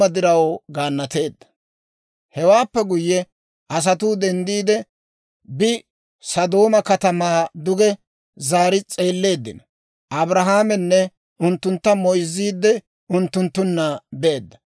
Hewaappe guyye asatuu denddiide bi, Sodooma katamaa duge zaari s'eelleeddino; Abrahaamenne unttuntta moyzziide unttunttunna beedda.